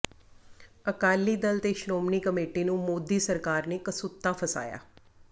ਅਕਾਲੀ ਦਲ ਤੇ ਸ਼੍ਰੋਮਣੀ ਕਮੇਟੀ ਨੂੰ ਮੋਦੀ ਸਰਕਾਰ ਨੇ ਕਸੂਤਾ ਫਸਾਇਆ